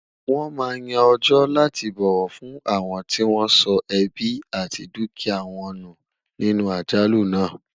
wón má Yàn ọjọ láti bọwọ fún awọn tí wọn sọ ẹbi àti dukia wọn nù nínú àjálù nà